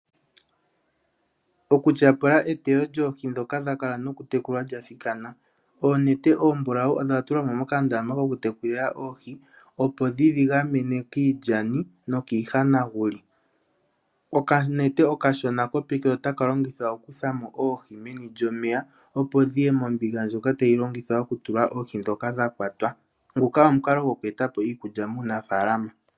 Okutyapula eteyo lyoohi ndhoka dha kala nokutekulwa lyathikana. Oonete oombulau odha tulwa mo mokandama kokutekulila oohi, opo dhi dhi gamene kiilyani nokiihanaguli. Okanete okashona kopeke otaka longithwa okukutha mo oohi momeya, opo dhi ye mombinga ndjoka tayi longithwa okutulwa oohi ndhoka dha kwatwa. Nguka omukalo goku eta po iikulya muunafaalama.